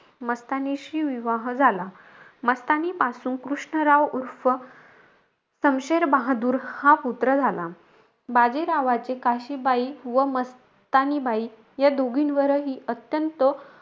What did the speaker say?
मस्तानीशी विवाह झाला. मस्तानीपासून कृष्णराव उर्फ समशेर बहादूर हा पुत्र झाला. बाजीरावाचे काशीबाई व मस्तानीबाई या दोघींवरही अत्यंत,